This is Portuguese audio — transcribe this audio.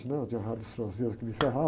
né? Eu tinha raiva dos franceses, que me ferravam.